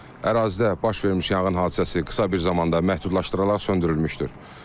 Ərazidə baş vermiş yanğın hadisəsi qısa bir zamanda məhdudlaşdırılaraq söndürülmüşdür.